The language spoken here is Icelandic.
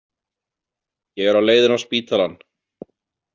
Ég er á leiðinni á spítalann.